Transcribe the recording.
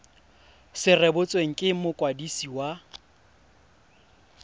se rebotswe ke mokwadisi wa